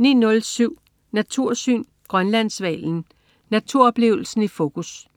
09.07 Natursyn. Grønlandshvalen. Naturoplevelsen i fokus